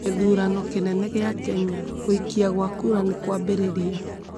Githurano kinene gia Kenya: Gũikia gwa kura nĩkwambĩrĩria